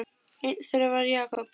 Einn þeirra var Jakob heitinn